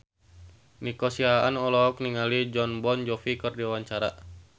Nico Siahaan olohok ningali Jon Bon Jovi keur diwawancara